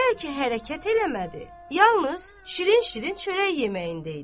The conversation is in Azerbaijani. Bəlkə hərəkət eləmədi, yalnız şirin-şirin çörək yeməyində idi.